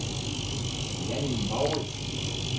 Jannie Mouritsen